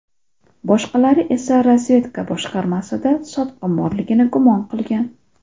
Boshqalari esa razvedka boshqarmasida sotqin borligini gumon qilgan.